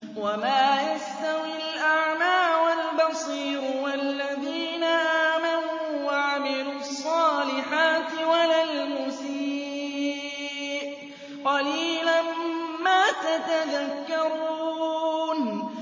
وَمَا يَسْتَوِي الْأَعْمَىٰ وَالْبَصِيرُ وَالَّذِينَ آمَنُوا وَعَمِلُوا الصَّالِحَاتِ وَلَا الْمُسِيءُ ۚ قَلِيلًا مَّا تَتَذَكَّرُونَ